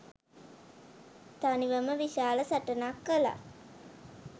තනිවම විශාල සටනක් කළා